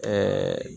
Ɛɛ